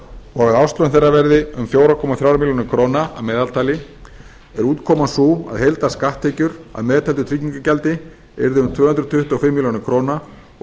og að árslaun þeirra verði um fjóra komma þrjú er að meðaltali er útkoman sú að heildarskatttekjur að meðtöldu tryggingargjaldi yrðu um tvö hundruð tuttugu og fimm er og